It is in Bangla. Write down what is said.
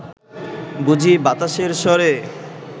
বুঝি বাতাসের স্বরে